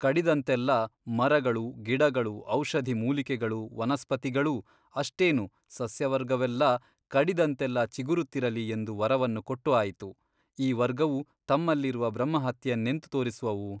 ಕಡಿದಂತೆಲ್ಲಾ ಮರಗಳು ಗಿಡಗಳು ಔಷಧಿ ಮೂಲಿಕೆಗಳು ವನಸ್ಪತಿಗಳೂ ಅಷ್ಟೇನು ಸಸ್ಯವರ್ಗವೆಲ್ಲಾ ಕಡಿದಂತೆಲ್ಲಾ ಚಿಗುರುತ್ತಿರಲಿ ಎಂದು ವರವನ್ನು ಕೊಟ್ಟು ಆಯಿತು ಈ ವರ್ಗವು ತಮ್ಮಲ್ಲಿರುವ ಬ್ರಹ್ಮಹತ್ಯೆಯನ್ನೆಂತು ತೋರಿಸುವುವು ?